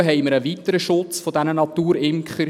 Dazu haben wir einen weiteren Schutz dieser Naturimker.